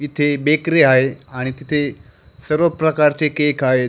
इथे बेकरी आहे आणि तिथे सर्व प्रकारचे केक आहेत.